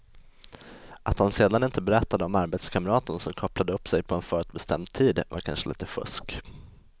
Att han sedan inte berättade om arbetskamraten som kopplade upp sig på en förutbestämd tid var kanske lite fusk.